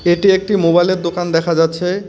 এটি একটি মোবাইলের দোকান দেখা যাচ্ছে.